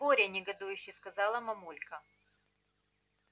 боря негодующе сказала мамулька